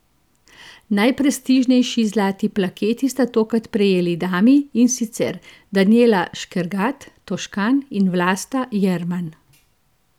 Najprestižnejši zlati plaketi sta tokrat prejeli dami, in sicer Danijela Škergat Toškan in Vlasta Jerman.